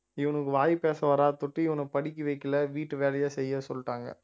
இவனுக்கு வாய் பேச வராதுதொட்டு இவனை படிக்க வைக்கல வீட்டு வேலையை செய்ய சொல்லிட்டாங்க